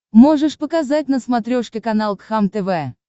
можешь показать на смотрешке канал кхлм тв